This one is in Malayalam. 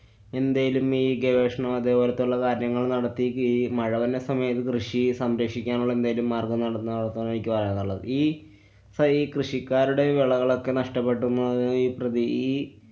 എന്തേലും ഈ ഗവേഷണം അതെപോലത്തുള്ള കാര്യങ്ങള്‍ നടത്തി മഴവരുന്ന സമയത്ത് കൃഷി സംരക്ഷിക്കാനുള്ള എന്തേലും മാര്‍ഗ്ഗം നടന്ന എനിക്ക് പറയാനുള്ളത്. ഈ സഹി~ കൃഷിക്കാരുടെ വെളകളൊക്കെ നഷ്ട്ടപ്പെട്ടുന്നു ഈ പ്രതി ഈ